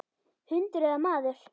Hundur eða maður.